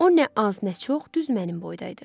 O nə az, nə çox, düz mənim boyda idi.